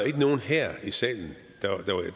ikke nogen her i salen